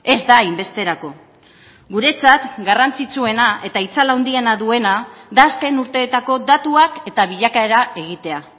ez da hainbesterako guretzat garrantzitsuena eta itzal handiena duena da azken urteetako datuak eta bilakaera egitea